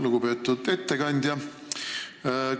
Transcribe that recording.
Lugupeetud ettekandja!